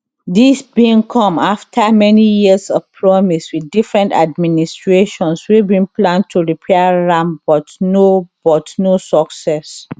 dis bin come afta many years of promise wit different administrations wey bin plan to repair am but no but no success